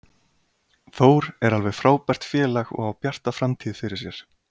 Þór er alveg frábært félag og á bjarta framtíð fyrir sér.